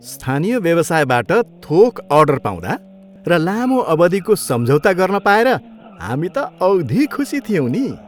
स्थानीय व्यवसायबाट थोक अर्डर पाउँदा र लामो अवधिको सम्झौता गर्न पाएर हामी त औधी खुसी थियौँ नि।